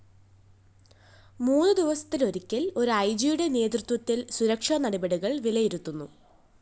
മൂന്നു ദിവസത്തിലൊരിക്കല്‍ ഒരു ഐജിയുടെ നേതൃത്വത്തില്‍ സുരക്ഷാനടപടികള്‍ വിലയിരുത്തുന്നു